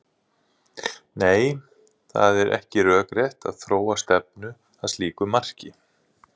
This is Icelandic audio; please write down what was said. Nei, það er ekki rökrétt að þróun stefni að slíku marki.